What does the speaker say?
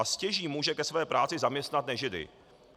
A stěží může ke své práci zaměstnat nežidy.